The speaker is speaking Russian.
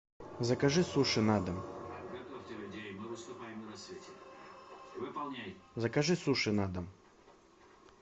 закажи суши на дом закажи суши на дом